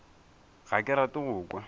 ga ke rate go kwa